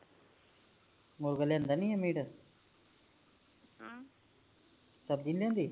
ਮੁੜਕੇ ਲਿਆਂਦਾ ਨੀ ਆ ਮੀਟ ਸਬਜੀ ਨੀ ਲਿਆਂਦੀ